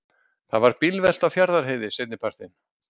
Þá varð bílvelta á Fjarðarheiði seinnipartinn